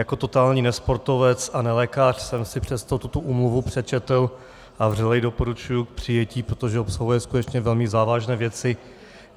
Jako totální nesportovec a nelékař jsem si přesto tuto úmluvu přečetl a vřele ji doporučuji k přijetí, protože obsahuje skutečně velmi závažné věci.